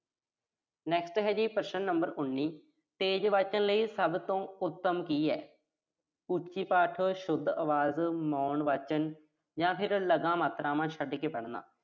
next ਹੈਗਾ ਜੀ, ਪ੍ਰਸ਼ਨ number ਉਨੀ। ਤੇਜ਼ ਵਾਚਣ ਲਈ ਸਭ ਤੋਂ ਉੱਤਮ ਕੀ ਆ। ਉੱਚੀ ਪਾਠ, ਸ਼ੁੱਧ ਆਵਾਜ਼, ਮੌਨ ਵਾਚਨ ਜਾਂ ਫਿਰ ਲਗਾ-ਮਾਤਰਾਵਾਂ ਛੱਡ ਕੇ ਪੜ੍ਹਨਾ।